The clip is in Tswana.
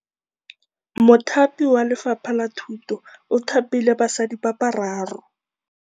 Mothapi wa Lefapha la Thutô o thapile basadi ba ba raro.